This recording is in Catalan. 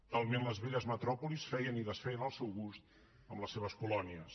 talment les velles metròpolis feien i desfeien al seu gust amb les seves colònies